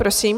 Prosím.